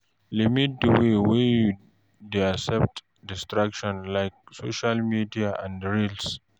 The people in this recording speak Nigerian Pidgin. Limit di way wey you dey accept distractions like social media and reels